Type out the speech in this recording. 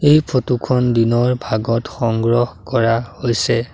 এই ফটো খন দিনৰ ভাগত সংগ্ৰহ কৰা হৈছে।